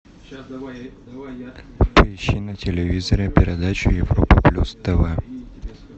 поищи на телевизоре передачу европа плюс тв